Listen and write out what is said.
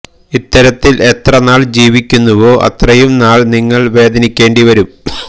ഇത്തരത്തില് എത്ര നാള് ജീവിക്കുന്നവോ അത്രയും നാള് നിങ്ങള്് വേദനിക്കേണ്ടി വരും